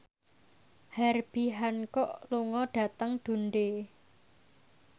Herbie Hancock lunga dhateng Dundee